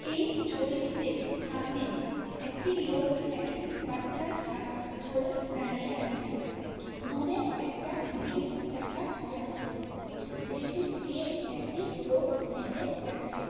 এই ছবিটিতে সামনে একটি লোক একটি বাচ্চার হাত ধরে দাঁড়িয়ে আছে। দূরে একটা ব্রিজ দেখা যাচ্ছে। ব্রিজ দিয়ে একটি লোক হেঁটে যাচ্ছে।